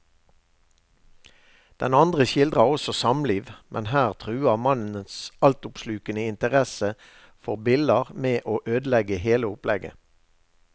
Den andre skildrer også et samliv, men her truer mannens altoppslukende interesse for biller med å ødelegge hele opplegget.